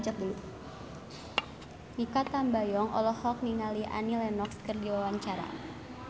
Mikha Tambayong olohok ningali Annie Lenox keur diwawancara